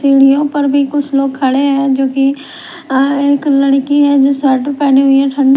सीढ़ियों पर भी कुछ लोग खड़े हैं जो कि अ एक लड़की है जो शर्ट पहनी हुई है ठण्ड--